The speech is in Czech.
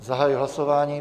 Zahajuji hlasování.